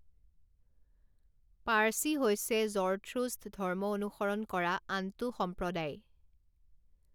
পাৰ্চী হৈছে জৰথ্ৰুষ্ট ধৰ্ম অনুসৰণ কৰা আনটো সম্প্ৰদায়।